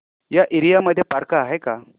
या एरिया मध्ये पार्क आहे का